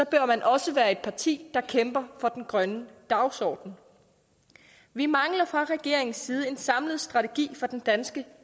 bør man også være et parti der kæmper for den grønne dagsorden vi mangler fra regeringens side en samlet strategi for den danske